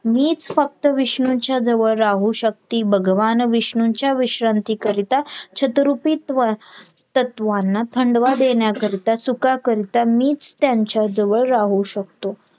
मीच फक्त विष्णूच्या जवळ राहू शकती भगवान विष्णूंच्या विश्रांती करीता छतरुपित्व तत्वांना थंडवा देण्याकरीता सुखाकरिता मीच त्यांच्या जवळ राहू शकतो